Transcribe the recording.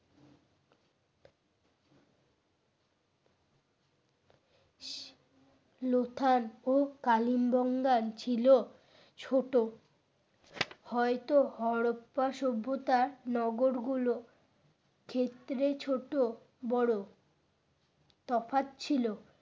লুথান ও কালিমবঙ্গ ছিল ছোট হয়তো হরপ্পা সভ্যতা নগর গুলো ক্ষেত্রে ছোট বড় তফাৎ ছিল।